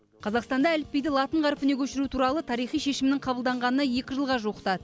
қазақстанда әліпбиді латын қарпіне көшіру туралы тарихи шешімнің қабылданғанына екі жылға жуықтады